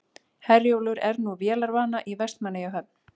Herjólfur er nú vélarvana í Vestmannaeyjahöfn